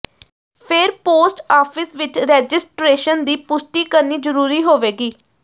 ਫਿਰ post office ਵਿਚ registration ਦੀ ਪੁਸ਼ਟੀ ਕਰਨੀ ਜ਼ਰੂਰੀ ਹੋਵੇਗੀ